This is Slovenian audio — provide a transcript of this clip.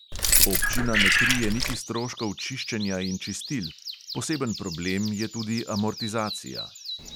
Občina ne krije niti stroškov čiščenja in čistil, poseben problem je tudi amortizacija.